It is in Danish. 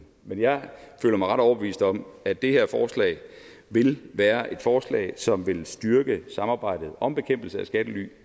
men jeg føler mig ret overbevist om at det her forslag vil være et forslag som vil styrke samarbejdet om bekæmpelse af skattely